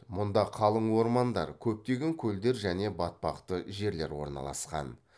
мұнда қалың ормандар көптеген көлдер және батпақты жерлер орналасқан